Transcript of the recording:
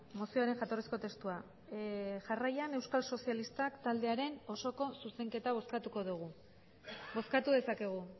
mozioaren jatorrizko testua jarraian euskal sozialistak taldearen osoko zuzenketa bozkatuko dugu bozkatu dezakegu